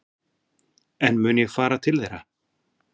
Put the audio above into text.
En mun ég fara til þeirra?